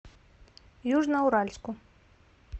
южноуральску